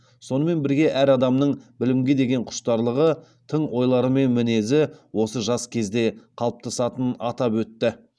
сонымен бірге әр адамның білімге деген құштарлығы тың ойлары мен мінезі осы жас кезде қалыптасатынын атап өтті